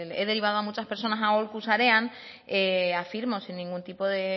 he derivado a muchas personas a aholku sarean afirmo sin ningún tipo de